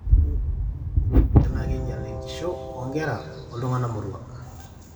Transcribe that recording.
ore olrerio toloingang'e naa keinyial enkisho oo nkera oltung'anak moruak